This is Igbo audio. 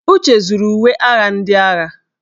Uche zuru uwe agha ndị agha.